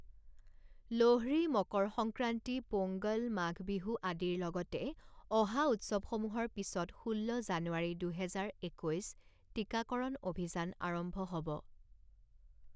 লোহড়ী, মকৰ সংক্ৰান্তি, পোংগল, মাঘ বিহু আদিৰ লগতে অহা উৎসৱসমূহৰ পিছত ষোল্ল জানুৱাৰী দুহেজাৰ একৈছ টীকাকৰণ অভিযান আৰম্ভ হ'ব।